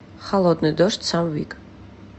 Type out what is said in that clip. холодный дождь сэм вик